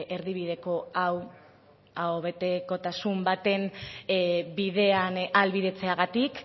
erdibideko hau aho betekotasun baten bidean ahalbidetzeagatik